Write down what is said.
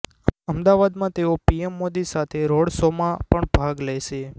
અદાવાદામાં તેઓ પીએમ મોદી સાથે રોડ શોમાં પણ ભાગ લેશે